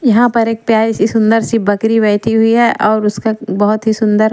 यहां पर एक प्यारी सी सुंदर सी बकरी बैठी हुई है और उसका बहुत ही सुंदर--